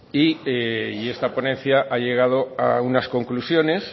y esta ponencia ha llegado a unas conclusiones